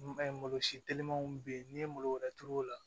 malo si telimanw be yen n'i ye malo wɛrɛ turu o la